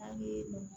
An ye